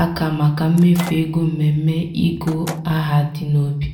aka maka mmefu ego mmemme ịgụ aha dị n'obi.